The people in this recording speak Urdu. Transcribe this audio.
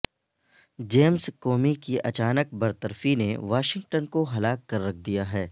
جیمز کومی کی اچانک برطرفی نے واشنگٹن کو ہلا کر رکھ دیا ہے